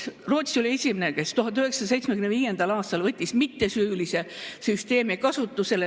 Rootsi oli esimene, kes 1975. aastal võttis mittesüülise süsteemi kasutusele.